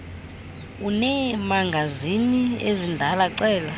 uneemagazini ezindala cela